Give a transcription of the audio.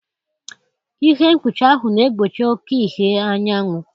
Ihe mkpuchi ahụ na-egbochi oke ìhè anyanwụ.